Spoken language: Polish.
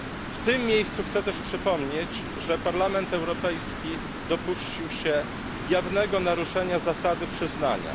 W tym miejscu chcę też przypomnieć, że Parlament Europejski dopuścił się jawnego naruszenia zasady przyznania.